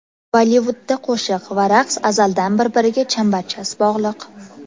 Bollivudda qo‘shiq va raqs azaldan bir-biriga chambarchas bog‘liq.